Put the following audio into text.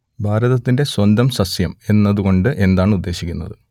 ഭാരതത്തിന്റെ സ്വന്തം സസ്യം എന്നതു കൊണ്ട് എന്താണ് ഉദ്ദേശിക്കുന്നത്